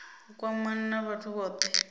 u kwamana na vhathu vhothe